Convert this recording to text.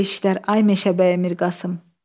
Belə-belə işlər, ay Meşəbəyi Mirqasım.